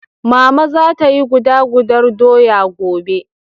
Mama za ta yi guda gudar doya gobe.